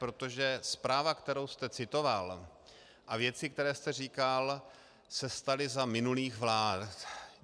Protože zpráva, kterou jste citoval, a věci, které jste říkal, se staly za minulých vlád.